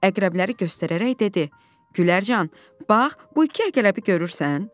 Əqrəbləri göstərərək dedi: "Gülərcan, bax bu iki əqrəbi görürsən?